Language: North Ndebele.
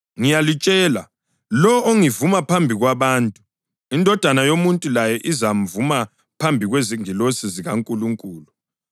Ngiyalitshela, lowo ongivuma phambi kwabantu, iNdodana yoMuntu layo izamvuma phambi kwezingilosi zikaNkulunkulu.